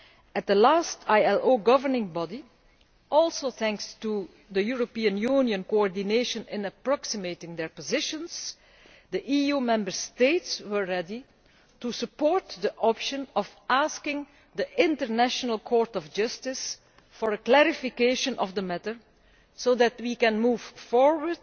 At the last session of the ILO Governing Body, also thanks to European Union coordination in approximating their positions, the EU Member States were ready to support the option of asking the International Court of Justice for a clarification of the matter so that we can move forward